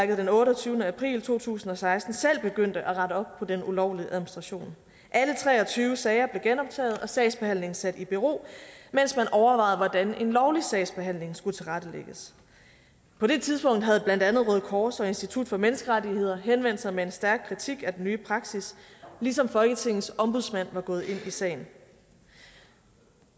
den otteogtyvende april to tusind og seksten selv begyndte at rette op på den ulovlige administration alle tre og tyve sager blev genoptaget og sagsbehandlingen sat i bero mens man overvejede hvordan en lovlig sagsbehandling skulle tilrettelægges på det tidspunkt havde blandt andet røde kors og institut for menneskerettigheder henvendt sig med en stærk kritik af den nye praksis ligesom folketingets ombudsmand var gået ind i sagen